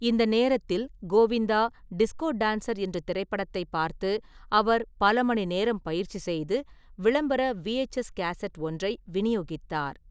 இந்த நேரத்தில், Govinda Disco Dancer என்ற திரைப்படத்தைப் பார்த்து, அவர் பல மணி நேரம் பயிற்சி செய்து, விளம்பர விஎச்எஸ் கேசட் ஒன்றை விநியோகித்தார்.